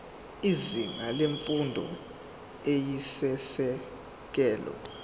izinga lemfundo eyisisekelo